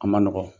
A ma nɔgɔn